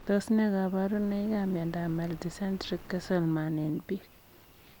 Tos ne kabarunoikap miondoop Multicentric Castleman eng piik?